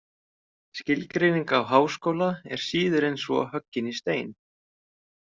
Skilgreining á háskóla er síður en svo hoggin í stein.